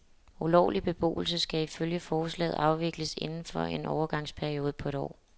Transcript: Ulovlig beboelse skal ifølge forslaget afvikles inden for en overgangsperiode på et år.